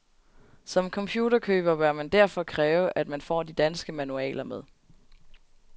Som computerkøber bør man derfor kræve, at man får de danske manualer med.